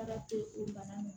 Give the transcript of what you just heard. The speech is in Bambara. Ala to bana m